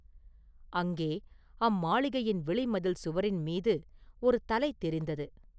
அங்கே, அம்மாளிகையின் வெளிமதில் சுவரின் மீது ஒரு தலை தெரிந்தது.